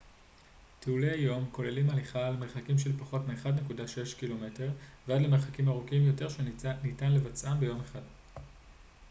טיולי יום כוללים הליכה למרחקים של פחות מ-1.6 ק מ ועד למרחקים ארוכים יותר שניתן לבצעם ביום אחד